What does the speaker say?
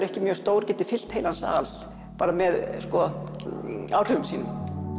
ekki mjög stór geti fyllt heilan sal bara með áhrifum sínum